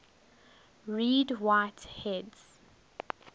read write heads